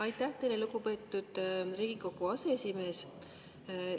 Aitäh teile, lugupeetud Riigikogu aseesimees!